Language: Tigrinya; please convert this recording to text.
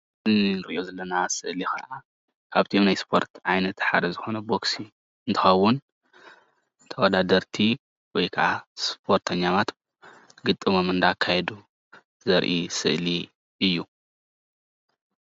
እዚ ንርእዮ ዘለና ስእሊ ኻዓ ካብቶም ናይ ስፖርት ዓይነት ሓደ ቦግሲ እንትኸውን ተወዳደርቲ ወይ ኻዓ ስፖርተኛታት ግጥሞም እናካይዱ ዘርኢ ስእሊ እዩ።